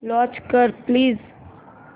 launch कर please